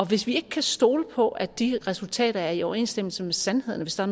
hvis vi ikke kan stole på at de resultater er i overensstemmelse med sandheden hvis der